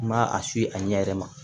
N ma a si a ɲɛ yɛrɛ ma